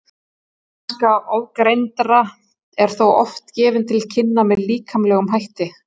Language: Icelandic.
ómennska ofangreindra er þó oft gefin til kynna með líkamlegum hætti